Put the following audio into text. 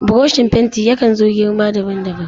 Burushin fenti yakan zo da girma daban daban.